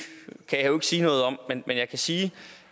sige noget om men jeg kan sige